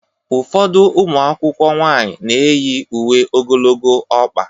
Ụfọdụ ụmụ akwụkwọ nwanyị na-eyi uwe ogologo ọkpa